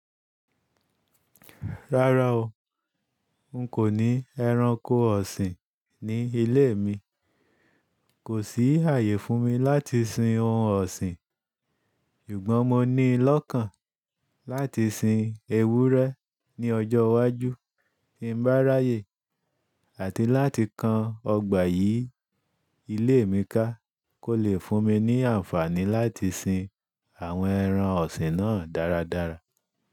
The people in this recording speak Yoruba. Rárá o, n kò ní ẹranko ọ̀sìn ní ilé mi. Kò sí ààyè fún mi láti sin ohun ọ̀sìn. Sugbọ́n mọni lọ́kàn láti sin ewúrẹ́ ní ọjọ́ iwájú tí ń bá ráyè àti láti kan ọgbà yìí ilé mi ká kó lè fún mi ní àǹfààní láti sin àwọn ẹran ọ̀sìn náà dáradára.